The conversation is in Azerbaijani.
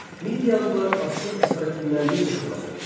Mediyalılar Assur əsarətindən necə xilas oldular?